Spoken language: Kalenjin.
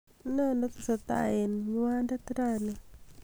nen netesetai en nywandet rani